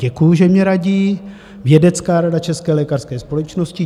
Děkuji, že mně radí Vědecká rada České lékařské společnosti.